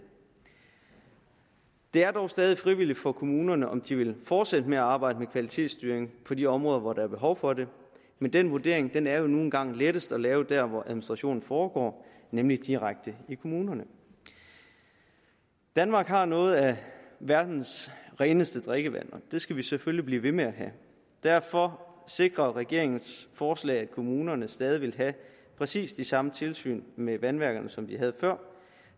er dog stadig frivilligt for kommunerne om de vil fortsætte med at arbejde med kvalitetsstyring på de områder hvor der er behov for det men den vurdering er nu en gang lettest at lave der hvor administrationen foregår nemlig direkte i kommunerne i danmark har vi noget af verdens reneste drikkevand og det skal vi selvfølgelig blive ved med at have derfor sikrer regeringens forslag at kommunerne stadig vil have præcis de samme tilsyn med vandværkerne som de havde før